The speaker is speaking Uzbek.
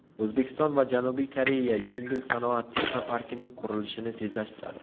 O‘zbekiston va Janubiy Koreya yengil sanoat texnoparkining qurilishini tezlashtiradi.